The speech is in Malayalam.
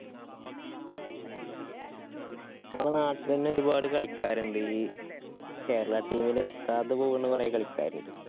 മ്മളെ നാട്ടിലന്നെ ഒരുപാട് കളിക്കാര്ണ്ട്. ഈ Kerala team ല് ത്താതെ പോവ്‌ണ കൊറേ കളിക്കാരുണ്ട്.